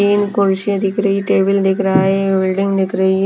तीन कुर्सियां दिख रही टेबल दिख रहा है बिल्डिंग दिख रही है।